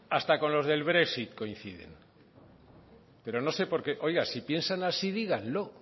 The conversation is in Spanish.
hasta con los del brexit coinciden pero no sé por qué oiga si piensan así díganlo